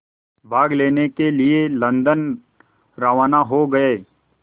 भाग लेने के लिए लंदन रवाना हो गए